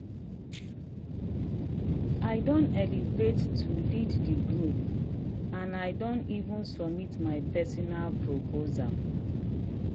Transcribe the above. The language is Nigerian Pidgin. i don elevate to lead the group and and i don even submit my personal proposal.